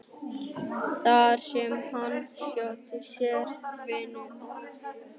Reykjavíkurhöfn, þar sem hann sótti sér vinnu og afþreyingu.